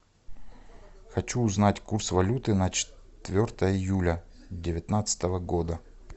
хочу узнать курс валюты на четвертое июля девятнадцатого года